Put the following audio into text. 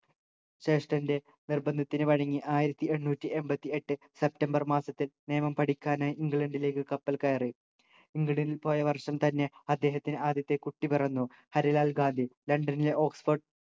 ജേഷ്ഠന്റെ നിർബന്ധത്തിനു വഴങ്ങി ആയിരത്തി എണ്ണൂറ്റി എൺപത്തി എട്ട് സെപ്റ്റംബർ മാസത്തിൽ നിയമം പഠിക്കാനായി ഇംഗ്ലണ്ടിലേക്ക് കപ്പൽ കയറി ഇംഗ്ലണ്ടിൽ പോയ വർഷം തന്നെ അദ്ദേഹത്തിന് ആദ്യത്തെ കുട്ടി പിറന്നു ഹരിലാൽ ഗാന്ധി ലണ്ടനിലെ oxford